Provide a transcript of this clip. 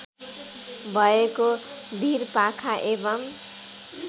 भएको भिरपाखा एवं